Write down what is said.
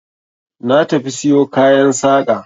Na tafi siyo kayan saƙa.